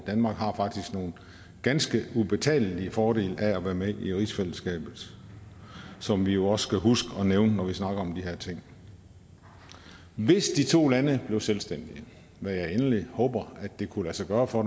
danmark har faktisk nogle ganske ubetalelige fordele ved at være med i rigsfællesskabet som vi jo også skal huske at nævne når vi snakker om de her ting hvis de to lande blev selvstændige hvad jeg endelig håber kunne lade sig gøre for